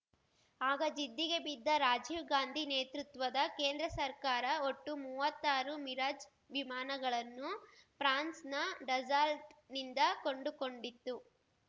ಆಗ ಜಿದ್ದಿಗೆ ಬಿದ್ದ ರಾಜೀವ್‌ ಗಾಂಧಿ ನೇತೃತ್ವದ ಕೇಂದ್ರ ಸರ್ಕಾರ ಒಟ್ಟು ಮೂವತ್ತಾರು ಮಿರಾಜ್‌ ವಿಮಾನಗಳನ್ನು ಫ್ರಾನ್ಸ್‌ನ ಡಸಾಲ್ಟ್‌ನಿಂದ ಕೊಂಡುಕೊಂಡಿತ್ತು